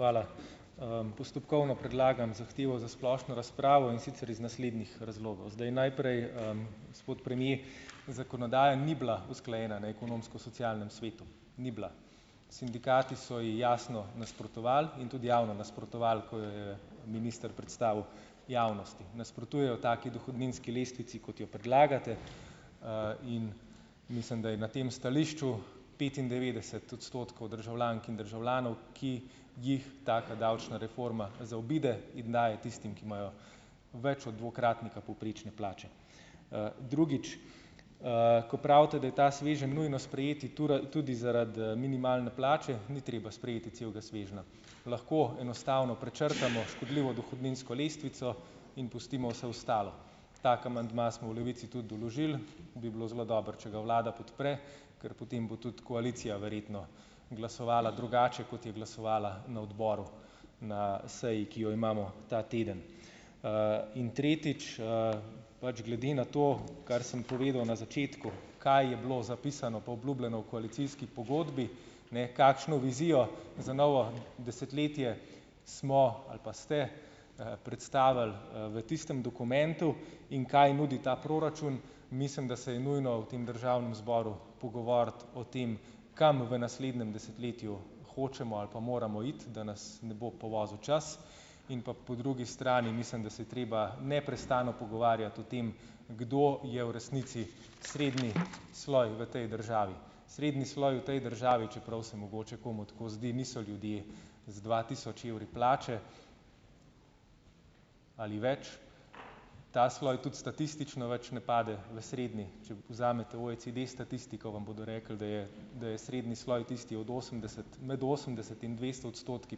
Hvala. postopkovno predlagam zahtevo za splošno razpravo, in sicer iz naslednjih razlogov. Zdaj, najprej, , gospod premier, zakonodaja ni bila usklajena, ne, na ekonomsko-socialnem svetu. Ni bila. Sindikati so ji jasno nasprotovali in tudi javno nasprotovali, ko jo je minister predstavil javnosti. Nasprotujejo taki dohodninski lestvici, kot jo predlagate, in mislim, da je na tem stališču petindevetdeset odstotkov državljank in državljanov, ki jih taka davčna reforma zaobide in daje tistim, ki imajo več od dvakratnika povprečne plače. drugič. ko pravite, daj ta sveženj nujno sprejeti tudi zaradi, minimalne plače, ni treba sprejeti celega svežnja. Lahko enostavno prečrtamo škodljivo dohodninsko lestvico in pustimo vse ostalo. Tako amandma smo v Levici tudi vložili, bi bilo zelo dobro, če ga vlada podpre, ker potem bo ta koalicija verjetno glasovala drugače, kot je glasovala na odboru, na seji, ki jo imamo ta teden. in tretjič, pač glede na to, kar sem povedal na začetku, kaj je bilo zapisano pa obljubljeno v koalicijski pogodbi, ne, kakšno vizijo za novo desetletje smo ali pa ste, predstavili, v tistem dokumentu in kaj nudi ta proračun. Mislim, da se je nujno v tem državnem zboru pogovoriti o tem, kam v naslednjem desetletju hočemo ali pa moramo iti, da nas ne bo povozil čas, in pa po drugi strani, mislim , da se je treba neprestano pogovarjati o tem, kdo je v resnici srednji sloj v tej državi. Srednji sloj v tej državi, čeprav se mogoče komu tako zdi, niso ljudje z dva tisoč evri plače ali več, ta sloj tudi statistično več ne pade v srednji, če povzamete OECD statistiko, vam bodo rekli, da je, da je srednji sloj tisti od osemdeset, med osemdeset in dvesto odstotki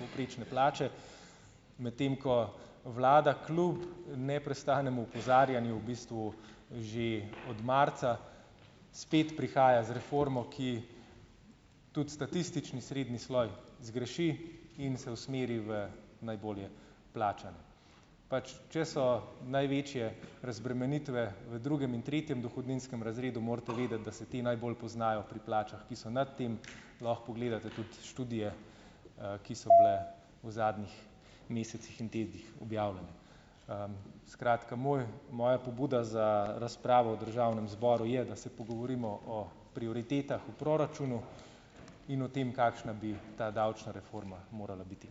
povprečne plače . Medtem ko vlada kljub neprestanemu opozarjanju v bistvu že od marca spet prihajati z reformo, ki tudi statistični srednji sloj zgreši in se usmeri v najbolje plačan. Pač, če so največje razbremenitve v drugem in tretjem dohodninskem razredu, morate vedeti , da se te najbolj poznajo pri plačah, ki so nad tem, lahko pogledate tudi študije, ki so bile v zadnjih mesecih in tednih objavljene. skratka moj, moja pobuda za razpravo v državnem zboru je, da se pogovorimo o prioritetah v proračunu in o tem, kakšna bi ta davčna reforma morala biti.